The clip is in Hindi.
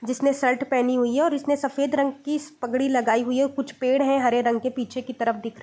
जिसने शर्ट पहनी हुई है उसने सफेद रंग की पगड़ी लगाई हुई है कुछ पेड़ हैं हरे रंग की पीछे के तरफ दिख --